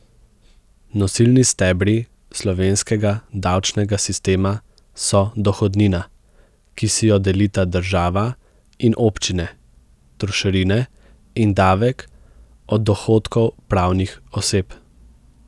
Nosilni stebri slovenskega davčnega sistema so dohodnina, ki si jo delita država in občine, trošarine in davek od dohodkov pravnih oseb.